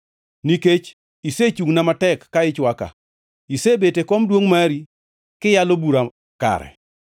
Nikech isechungʼna matek ka ichwaka isebet e kom duongʼ mari, kiyalo bura kare.